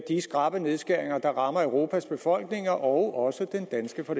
de skrappe nedskæringer der rammer europas befolkninger og også den danske for